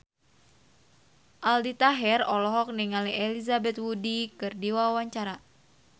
Aldi Taher olohok ningali Elizabeth Moody keur diwawancara